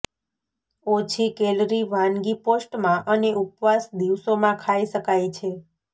ઓછી કેલરી વાનગી પોસ્ટમાં અને ઉપવાસ દિવસોમાં ખાઈ શકાય છે